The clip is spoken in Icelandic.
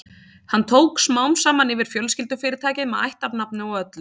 Hann tók smám saman yfir fjölskyldufyrirtækið með ættarnafni og öllu.